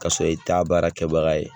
K'a sɔrɔ i t'a baara kɛbaga ye